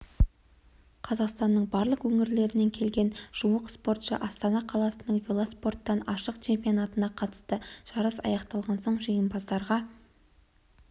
қазақстанның барлық өңірлерінен келген жуық спортшы астана қаласының велоспорттан ашық чемпионатына қатысты жарыс аяқталған соң жеңімпаздарға